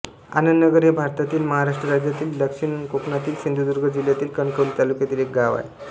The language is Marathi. आनंदनगर हे भारतातील महाराष्ट्र राज्यातील दक्षिण कोकणातील सिंधुदुर्ग जिल्ह्यातील कणकवली तालुक्यातील एक गाव आहे